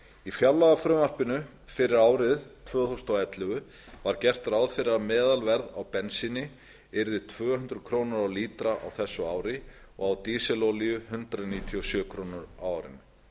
í fjárlagafrumvarpi fyrir árið tvö þúsund og ellefu var gert ráð fyrir að meðalverð á bensíni yrði tvö hundruð krónur á lítra á þessu ári og á dísilolíu hundrað níutíu og sjö krónur á árinu